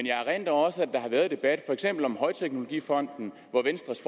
jeg erindrer også at der har været en debat om for eksempel højteknologifonden hvor venstres